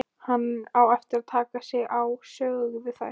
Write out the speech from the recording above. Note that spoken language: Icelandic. Hann á eftir að taka sig á, sögðu þær.